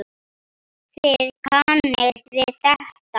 Þið kannist við þetta.